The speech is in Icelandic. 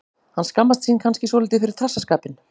Hann skammast sín kannski svolítið fyrir trassaskapinn.